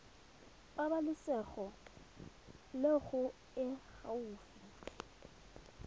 pabalesego loago e e gaufi